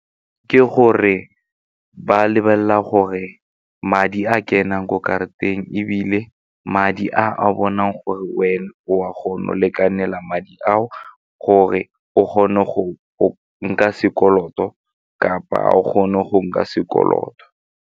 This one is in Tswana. Ke gore ba lebelela gore madi a kenang ko karateng ebile madi a a bonang gore wena o a kgona go lekanela madi ao gore o kgone go nka sekoloto kapa o kgone go nka sekoloto.